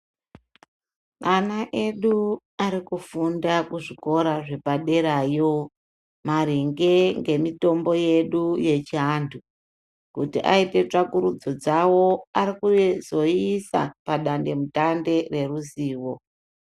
Ana edu arikukufunda kuzvikora zvepaderayo maringe ngemitombo yedu yechiantu kuti aite tsvakurudzo dzavo arikuzoiisa padandemutande reruzivo.